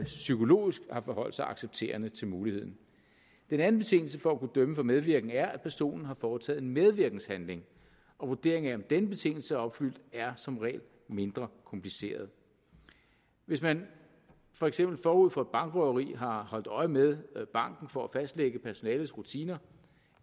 psykologisk havde forholdt sig accepterende til muligheden den anden betingelse for at kunne dømme for medvirken er at personen har foretaget en medvirkenshandling og vurderingen af om denne betingelse er opfyldt er som regel mindre kompliceret hvis man for eksempel forud for et bankrøveri har holdt øje med banken for at fastlægge personalets rutiner